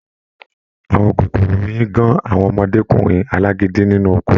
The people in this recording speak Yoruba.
Àwọn kòkòrò oyin gán àwọn ọmọdékunrin alágídí nínú oko.